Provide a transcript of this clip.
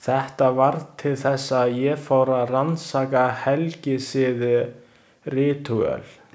Þetta varð til þess að ég fór að rannsaka helgisiði, ritúöl.